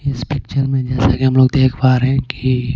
इस पिक्चर मेंजैसा कि हम लोग देख पा रहे हैं कि.